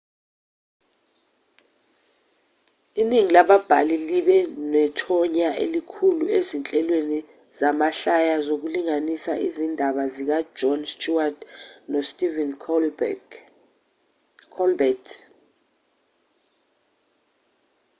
iningi lababhali libe nethonya elikhulu ezinhlelweni zamahlaya zokulingisa izindaba zikajon stewart nostephen colbert